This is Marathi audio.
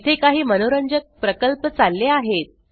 येथे काही मनोरंजक प्रकल्प चालले आहेत